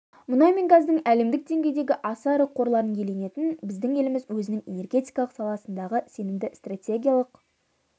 мұнай мен газдың әлемдік деңгейдегі аса ірі қорларын иеленетін біздің еліміз өзінің энергетикалық саладағы сенімді стратегиялық